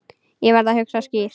Ég verð að hugsa skýrt.